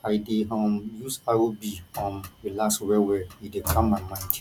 i dey um use rb um relax wellwell e dey calm my mind